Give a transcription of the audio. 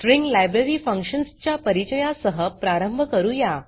string library functions च्या परिचया सह प्रारंभ करूया